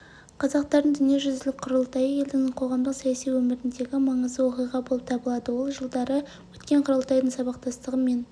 қазақстардың дүниежүзілік құрылтайы елдің қоғамдық-саяси өміріндегі маңызды оқиға болып табылады ол жылдары өткен құрылтайдың сабақтастығы мен